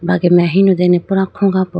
brage mai ahinu dene pura khuga po.